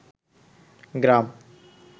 গ্রাম